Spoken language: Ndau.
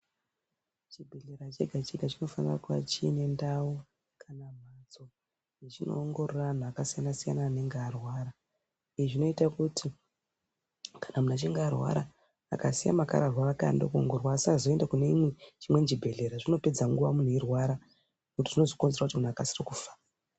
Chibhedhleya chegachega chinofanira kunge chiine ndau kana mbatso yechinoongorora antu akasiyanasiyana achinga arwara. Izvi zvinoita kuti kana muntu achinga arwara akasiya makararwa ake anode kuongororwa asazoenda kune imwe kune chimweni chibhedhlera zvinopedza nguwa muntu eirwara ngekuti zvinozokonzera kuti muntu akasire kufa.